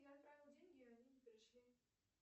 я отправила деньги а они не пришли